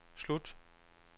slut